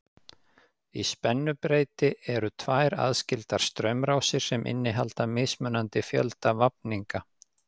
Í spennubreyti eru tvær aðskildar straumrásir sem innihalda mismunandi fjölda vafninga.